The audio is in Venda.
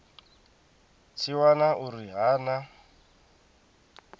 tshi wana uri ha na